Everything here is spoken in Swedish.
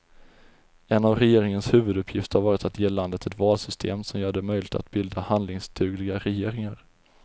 En av regeringens huvuduppgifter har varit att ge landet ett valsystem som gör det möjligt att bilda handlingsdugliga regeringar.